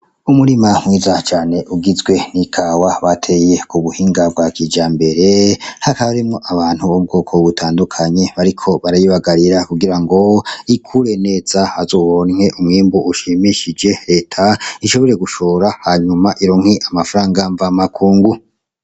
Umurima mwiza cane ugizwe ni kawa bateye kubuhinga bwa kijambere hakaba harimwo abantu bu bwoko butandukanye bariko barayibagara kugira ngo ikure neza bazoronke umwimbu ushimisheje reta ishobore gushora hanyuma ironke amahera nkuzamakungu.